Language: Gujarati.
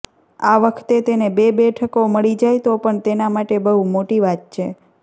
આ વખતે તેને બે બેઠકો મળી જાય તો પણ તેના માટે બહુ મોટી વાત છે